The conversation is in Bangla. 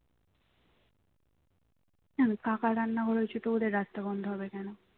কেন কাকার রান্নাঘর হয়েছে তো ওদের রাস্তা বন্ধ হবে কেন